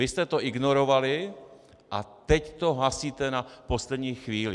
Vy jste to ignorovali, a teď to hasíte na poslední chvíli!